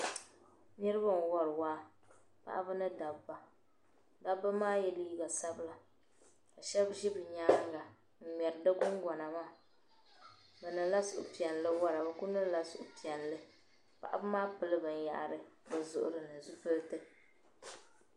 Niribi n wari waa paɣiba ni dabba ka dabb maa yɛ liiga sabila ka shab zi bi nyaaŋa n ŋmeri di gungona maa bi niŋla suhupiɛli nwara biku niŋla suhi piɛli paɣimaa pili bin yahiri bizuɣirini zipiliti.